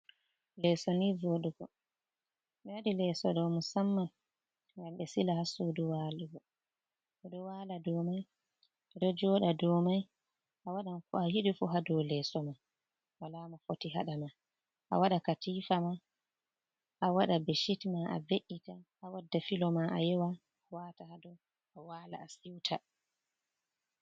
Leeso ni voɗugo ɓe waɗi lesso ɗo musamma gam ɓe sila ha sudu walugo ɓeɗo wala domai, ɓeɗo joɗa domai, a waɗan ko a yiɗi fu ha dow lesso man wala mofoti haɗama a wada katifama a wada beshit ma, a be’’ita a wadda filo ma a yewa wata hadow a wala a siuta.